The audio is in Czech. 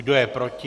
Kdo je proti?